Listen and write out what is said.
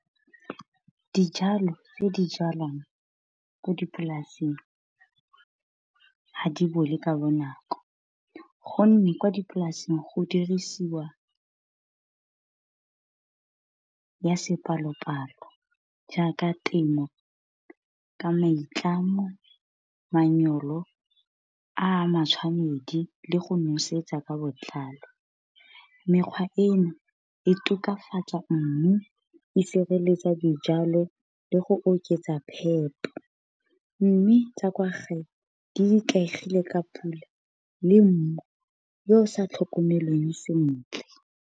Dijalo tse di jalwang ko dipolaseng ha di bole ka bo nako gonne kwa dipolaseng go dirisiw ya sepalopalo. Jaaka temo ka maitlamo, a a matshwanedi le go nosetsa ka botlalo. Mekgwa eno e tokafatsa mmu, e sireletsa dijalo, le go oketsa phepo. Mme tsa kwa gae di ikaegile ka pula le mmu yo o sa tlhokomelweng sentle.